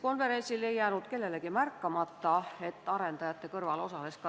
Kuivõrd õnnestus teie nõunikul sellel pressikonverentsil raportis esile toodud potentsiaalset huvide konflikti ennetada?